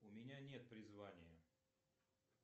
у меня нет призвания